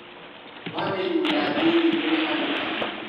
Wa mĩrimũ ya thĩiniĩ kũrĩ andũ agima